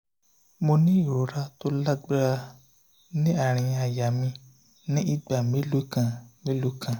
mo ní ìrora tó lágbára ní àárín àyà mi ní ìgbà mélòó kan mélòó kan